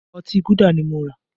Ọtí Gúdà ni mo rà